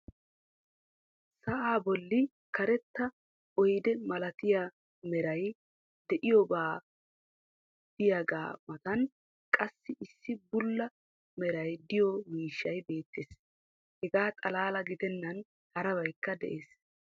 sa'aa bolli karetta oydde malattiya meray diyoobay diyaagaa matan qassi issi bulla meray diyo miishshay beetees. hegaa xalaala giddenan harabaykka des.